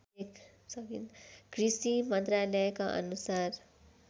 कृषि मन्त्रालयका अनुसार